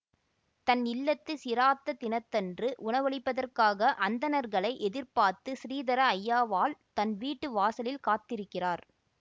தன் இல்லத்து சிராத்த தினத்தன்று உணவளிப்பதற்காக அந்தணர்களை எதிர்பார்த்து ஸ்ரீதர ஐயாவாள் தன் வீட்டு வாசலில் காத்திருக்கிறார்